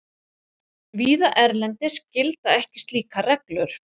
Víða erlendis gilda ekki slíkar reglur.